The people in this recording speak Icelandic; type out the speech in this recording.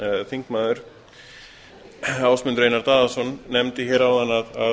þingmaður ásmundur einar daðason nefndi áðan að